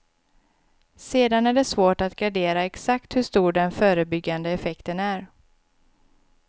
Sedan är det svårt att gradera exakt hur stor den förebyggande effekten är.